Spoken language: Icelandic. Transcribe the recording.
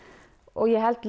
ég held